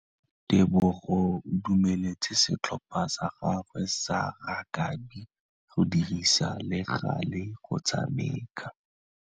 Tebogô o dumeletse setlhopha sa gagwe sa rakabi go dirisa le galê go tshameka.